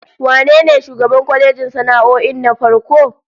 Wane ne shugaban kwalejin sana'o'in na farko?